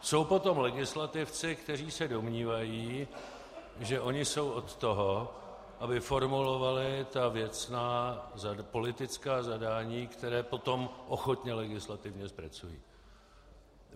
Jsou potom legislativci, kteří se domnívají, že oni jsou od toho, aby formulovali ta věcná politická zadání, která potom ochotně legislativně zpracují.